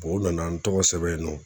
O nana n tɔgɔ sɛbɛn yen nɔ